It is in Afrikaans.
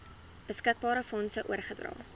beskikbare fondse oorgedra